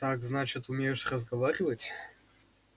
так значит умеешь разговаривать